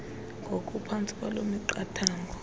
ngokuphantsi kwaloo miqathango